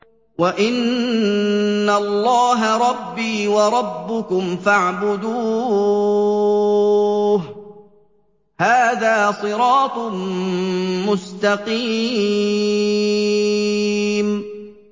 وَإِنَّ اللَّهَ رَبِّي وَرَبُّكُمْ فَاعْبُدُوهُ ۚ هَٰذَا صِرَاطٌ مُّسْتَقِيمٌ